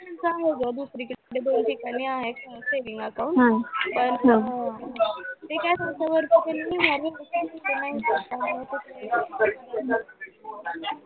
त्यांच आहे गं दुसरीकडे दोन ठिकाणी आहे saving account पण अं ते काय सांगतात